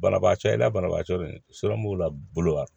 Banabaatɔ i n'a banabaatɔ de b'o la bolo a